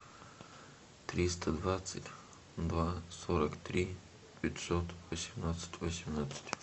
триста двадцать два сорок три пятьсот восемнадцать восемнадцать